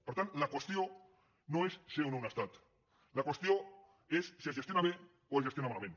per tant la qüestió no és ser o no un estat la qüestió és si es gestiona bé o es gestiona malament